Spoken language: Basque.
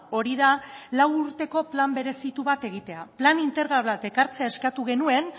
hori da lau urteko plan berezitu bat egitea plan integral bat ekartzea eskatu genuen